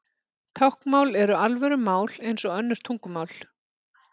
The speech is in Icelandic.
Táknmál er alvöru mál eins og önnur tungumál.